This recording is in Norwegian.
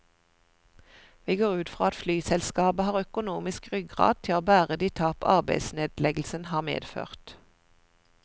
Vi går ut fra at flyselskapet har økonomisk ryggrad til å bære de tap arbeidsnedleggelsen har medført.